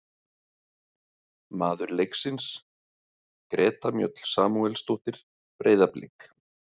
Maður leiksins: Greta Mjöll Samúelsdóttir, Breiðablik.